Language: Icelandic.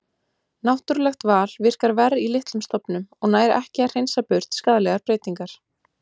Náttúrulegt val virkar verr í litlum stofnum og nær ekki að hreinsa burt skaðlegar breytingar.